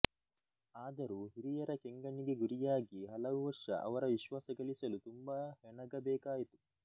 ಆದರೂ ಹಿರಿಯರ ಕೆಂಗಣ್ಣಿಗೆ ಗುರಿಯಾಗಿ ಹಲವು ವರ್ಷ ಅವರ ವಿಶ್ವಾಸ ಗಳಿಸಲು ತುಂಬ ಹೆಣಗಬೇಕಾಯಿತು